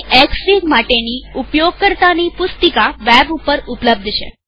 Xfig માટેની ઉપયોગકર્તાની પુસ્તિકા વેબ ઉપર ઉપલબ્ધ છે